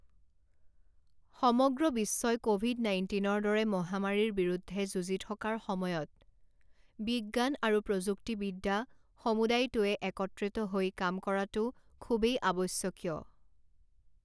সমগ্ৰ বিশ্বই ক'ভিড নাইণ্টিনৰ দৰে মহামাৰীৰ বিৰুদ্ধে যুঁজি থকাৰ সময়ত বিজ্ৎান আৰু প্ৰযুক্তিবিদ্যা সমুদায়টোৱে একত্ৰিত হৈ কাম কৰাটো খুবেই আৱশ্যকীয়।